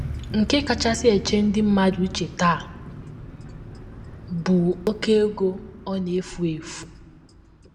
Nke kachasị eche ndị mmadụ uche taa bụ oké ego ọ na - efu efu.